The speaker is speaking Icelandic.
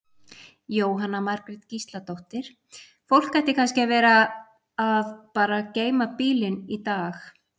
Jóhanna Margrét Gísladóttir: Fólk ætti kannski að vera að bara geyma bílinn í dag?